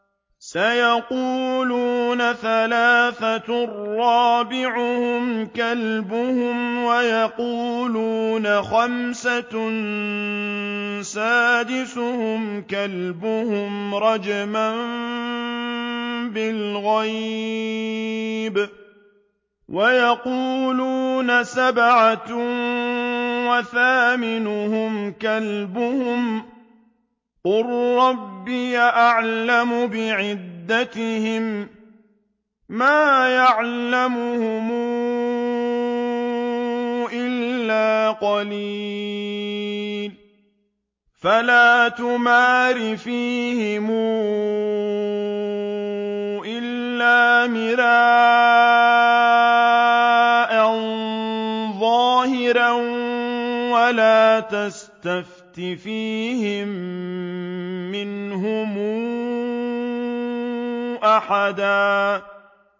سَيَقُولُونَ ثَلَاثَةٌ رَّابِعُهُمْ كَلْبُهُمْ وَيَقُولُونَ خَمْسَةٌ سَادِسُهُمْ كَلْبُهُمْ رَجْمًا بِالْغَيْبِ ۖ وَيَقُولُونَ سَبْعَةٌ وَثَامِنُهُمْ كَلْبُهُمْ ۚ قُل رَّبِّي أَعْلَمُ بِعِدَّتِهِم مَّا يَعْلَمُهُمْ إِلَّا قَلِيلٌ ۗ فَلَا تُمَارِ فِيهِمْ إِلَّا مِرَاءً ظَاهِرًا وَلَا تَسْتَفْتِ فِيهِم مِّنْهُمْ أَحَدًا